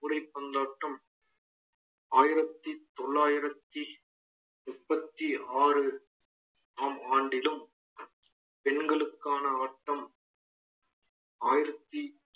கூடை பந்தாட்டம் ஆயிரத்தி தொள்ளாயிரத்தி முப்பத்தி ஆறாம் ஆண்டிலும் பெண்களுக்கான ஆட்டம் ஆயிரத்தி